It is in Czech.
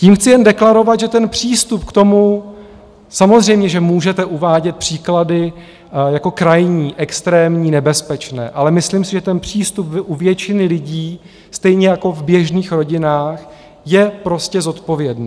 Tím chci jen deklarovat, že ten přístup k tomu, samozřejmě že můžete uvádět příklady jako krajní, extrémní, nebezpečné, ale myslím si, že ten přístup u většiny lidí stejně jako v běžných rodinách je prostě zodpovědný.